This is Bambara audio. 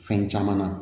Fɛn caman na